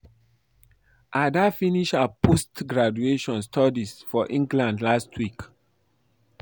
Ada finish her post graduate studies for England last week